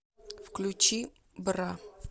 включи бра